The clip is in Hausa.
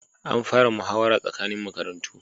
An fara muhawara tsakanin makarantu